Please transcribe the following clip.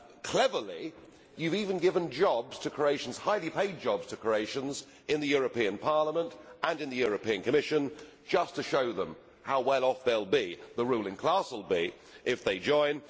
Cleverly, you have even given jobs to Croatians highly paid jobs to Croatians in the European Parliament and in the European Commission just to show them how well off they the ruling class will be if they join.